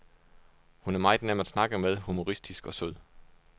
Hun er meget nem at snakke med, humoristisk og sød.